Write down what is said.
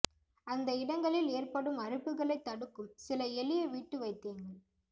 அந்த இடங்களில் ஏற்படும் அரிப்புகளைத் தடுக்கும் சில எளிய வீட்டு வைத்தியங்கள்